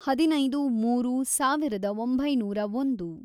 ಹದಿನೈದು, ಮೂರು, ಸಾವಿರದ ಒಂಬೈನೂರ ಒಂದು